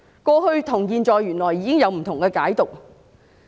過去與現在原來有不同的解讀。